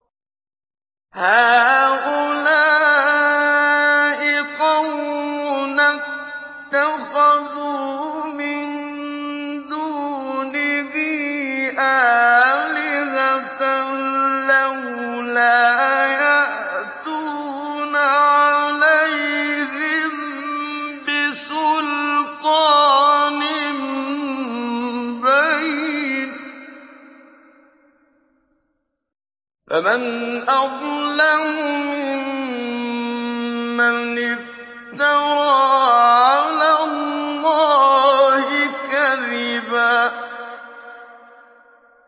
هَٰؤُلَاءِ قَوْمُنَا اتَّخَذُوا مِن دُونِهِ آلِهَةً ۖ لَّوْلَا يَأْتُونَ عَلَيْهِم بِسُلْطَانٍ بَيِّنٍ ۖ فَمَنْ أَظْلَمُ مِمَّنِ افْتَرَىٰ عَلَى اللَّهِ كَذِبًا